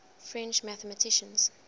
french mathematicians